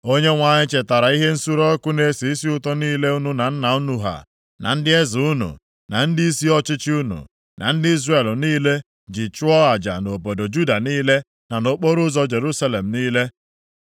“ Onyenwe anyị chetara ihe nsure ọkụ na-esi isi ụtọ niile unu na nna unu ha, na ndị eze unu, na ndịisi ọchịchị unu, na ndị Izrel niile ji chụọ aja nʼobodo Juda niile na nʼokporoụzọ Jerusalem niile.